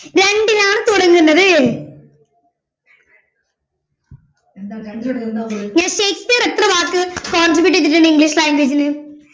രണ്ടിലാണ് തുടങ്ങുന്നത് ഷേക്സ്പിയർ എത്ര വാക്കുകള് contribute ചെയ്തിട്ടുണ്ട് ഇംഗ്ലീഷ് language ല്